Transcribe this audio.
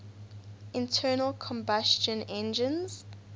internal combustion engines